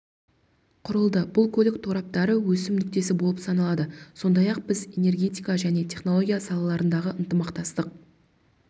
құрылды бұл көлік тораптары өсім нүктесі болып саналады сондай-ақ біз энергетика және технология салаларындағы ынтымақтастық